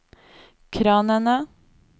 kranene